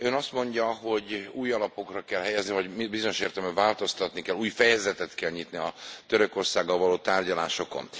Ön azt mondja, hogy új alapokra kell helyezni vagy bizonyos értelemben változtatni kell, új fejezetet kell nyitni a Törökországgal való tárgyalásokon.